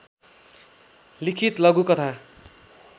लिखित लघुकथा